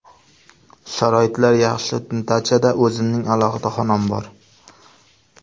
Sharoitlar yaxshi, dachada o‘zimning alohida xonam bor.